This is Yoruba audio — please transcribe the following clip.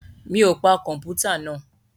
Mi ò pa kọ̀mpútà náà?